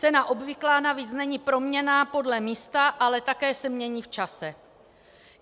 Cena obvyklá navíc není proměnná podle místa, ale také se mění v čase.